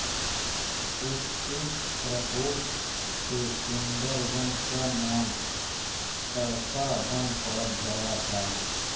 उसके प्रकोप से सुंदर वन का नाम ताड़का वन पड़ गया था